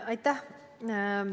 Aitäh!